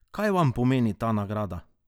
Kaj vam pomeni ta nagrada?